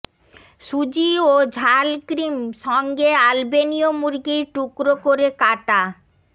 সুজি ও ঝাল ক্রিম সঙ্গে আলবেনীয় মুরগির টুকরো করে কাটা